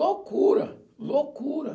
Loucura, loucura.